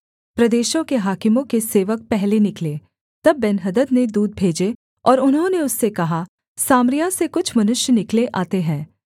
प्रदेशों के हाकिमों के सेवक पहले निकले तब बेन्हदद ने दूत भेजे और उन्होंने उससे कहा सामरिया से कुछ मनुष्य निकले आते हैं